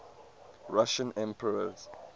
russian emperors